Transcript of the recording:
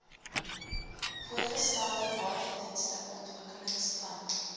voorgestelde waterdienste ontwikkelingsplan